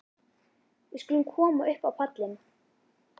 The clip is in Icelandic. Við skulum koma upp á pallinn.